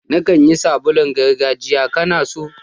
Na kan yi sabulun gargajiya, ka na so?